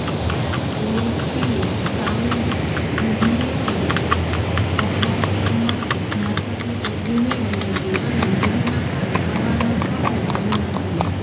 એલેક્સીએ sound ઇજનેરોના અભ્યાસક્રમમાંથી સ્નાતકની પદવી મેળવી હતી અને મૂવીમાં કામ કરવાનો સ્વપ્ન જોયું નથી